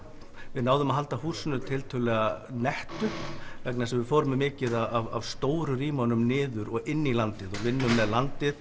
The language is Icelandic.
við náðum að halda húsinu tiltölulega vegna þess að við fórum með mikið af stóru rýmunum niður og inn í landið vinnum með landið